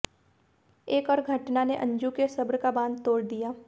एक और घटना ने अंजू के सब्र का बाँध तोड़ दिया